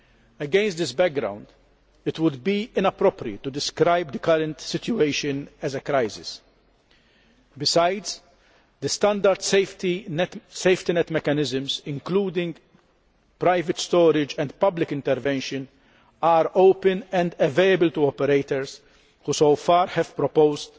Against this background, it would be inappropriate to describe the current situation as a crisis. Besides, the standard safety net mechanisms, including private storage and public intervention, are open and available to operators who have proposed